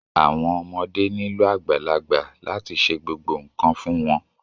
Àwọn ọmọdé nílò àgbàlagbà láti ṣe gbogbo nkan fún wọn.